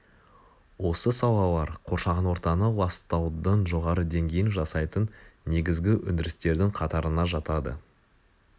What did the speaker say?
осы салалар қоршаған ортаны ластаудың жоғары деңгейін жасайтын негізгі өндірістердің қатарына жатады